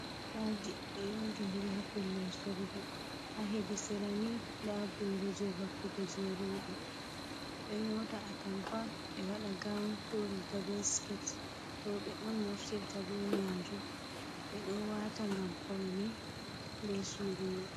Atampaji ɗo yondidiri ha pellel sorugo, ha hedi sera ni nda booro jei vakkugo jei rooɓe, ɓe ɗo nyota atampa ɓe waɗa gawun ko riiga be sket rooɓe on naftirta be majum ɓe ɗo wata ngam paune be surungal.